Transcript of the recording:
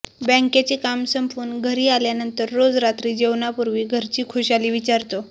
बँकेचे काम संपवून घरी आल्यानंतर रोज रात्री जेवणापूर्वी घरची खुशाली विचारतो